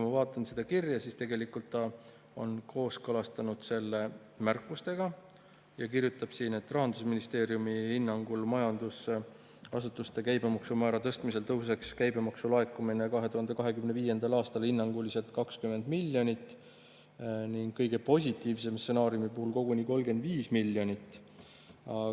Ma vaatan seda kirja, ta on tegelikult kooskõlastanud selle märkustega ja kirjutab siin nii: "Rahandusministeeriumi hinnangul majutusasutuste käibemaksumäära tõstmisel tõuseks käibemaksu laekumine 2025. aastal hinnanguliselt 20 miljoni euro võrra ning kõige positiivsema stsenaariumi puhul koguni 35 miljoni euro võrra.